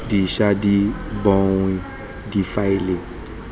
di ša di bonwa difaele